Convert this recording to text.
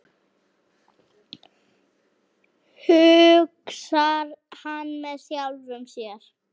hugsar hann með sjálfum sér.